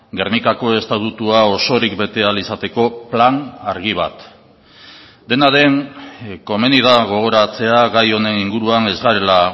gernikako estatutua osorik bete ahal izateko plan argi bat dena den komeni da gogoratzea gai honen inguruan ez garela